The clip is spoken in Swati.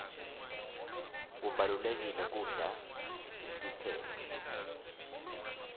kubalulekile kudla netitselo